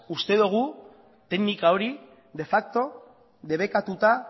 uste dogu teknika hori de facto debekatuta